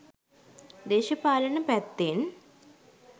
දේශපාලන පැත්තෙන්